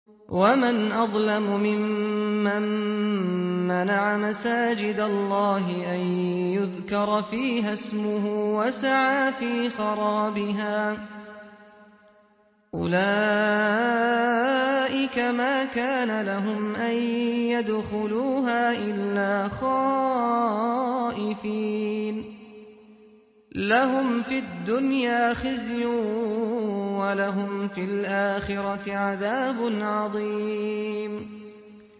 وَمَنْ أَظْلَمُ مِمَّن مَّنَعَ مَسَاجِدَ اللَّهِ أَن يُذْكَرَ فِيهَا اسْمُهُ وَسَعَىٰ فِي خَرَابِهَا ۚ أُولَٰئِكَ مَا كَانَ لَهُمْ أَن يَدْخُلُوهَا إِلَّا خَائِفِينَ ۚ لَهُمْ فِي الدُّنْيَا خِزْيٌ وَلَهُمْ فِي الْآخِرَةِ عَذَابٌ عَظِيمٌ